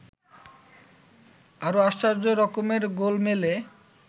আরও আশ্চর্য রকমের গোলমেলে